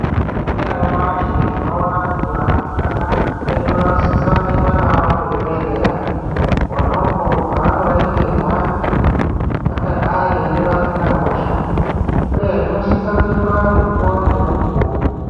Tikaningira nyamashi tinoona kuti varumbwana vedu vanosisa kuendwa navo kuzvibhehleya kona uku kwavanondoningirwa kuti vangadai ere vasina hosha uye zvinosisa kuitwa mukuwo ngemukuwo.